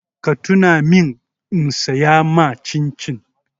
Ka tuna min in saya ma cin-cin!